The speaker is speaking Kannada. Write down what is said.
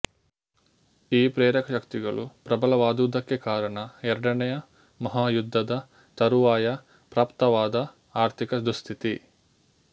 ಈ ಪ್ರೇರಕ ಶಕ್ತಿಗಳು ಪ್ರಬಲವಾದುದಕ್ಕೆ ಕಾರಣ ಎರಡನೆಯ ಮಹಾಯುದ್ಧದ ತರುವಾಯ ಪ್ರಾಪ್ತವಾದ ಆರ್ಥಿಕ ದುಃಸ್ಥಿತಿ